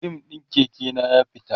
rim ɗin Keke na ya fita